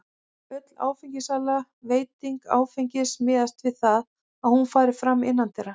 Öll áfengissala og veiting áfengis miðast við það að hún fari fram innandyra.